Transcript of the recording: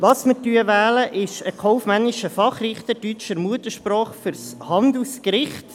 Was wir wählen werden, ist: einen kaufmännischen Fachrichter deutscher Muttersprache für das Handelsgericht.